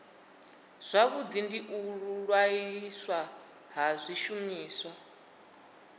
zwavhudi u ṅwaliswa ha zwishumiswa